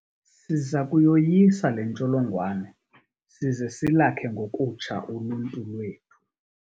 Siza kuyoyisa le ntsholongwane size silakhe ngokutsha uluntu lwethu.